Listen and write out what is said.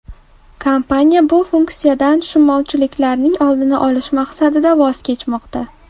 Kompaniya bu funksiyadan tushunmovchiliklarning oldini olish maqsadida voz kechmoqda.